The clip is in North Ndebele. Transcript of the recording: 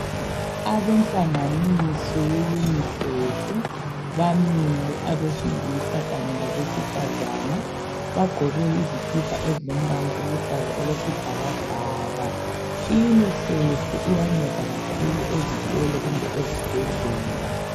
Abenhlanganiso ye "UNICEF" bamile abesilisa kanye labesifazane, bagqoke izikipa ezilombala oluhlaza okwesibhakabhaka.I"UNICEF" iyanceda kakhulu ezikolo kumbe ezibhadlela.